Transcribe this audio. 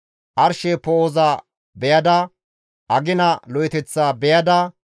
Arshe poo7oza beyada, agina lo7eteththa beyada,